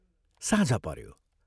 साँझ पऱ्यो ।